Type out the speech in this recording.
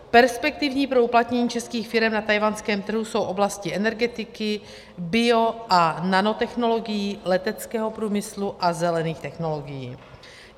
Perspektivní pro uplatnění českých firem na tchajwanském trhu jsou oblasti energetiky, bio- a nanotechnologií, leteckého průmyslu a zelených technologií.